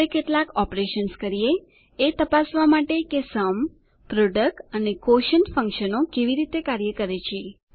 હવે કેટલાક ઓપરેશન્સ કરીએ એ તપાસવા માટે કે સુમ સમ પ્રોડક્ટ પ્રોડક્ટ અને ક્વોશન્ટ ક્વોશીએંટ ફંકશનો કેવી રીતે કાર્ય કરે છે